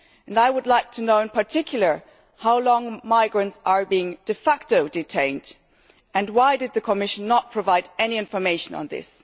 I would like to know, in particular, how long migrants are being de facto detained, and why did the Commission not provide any information on this?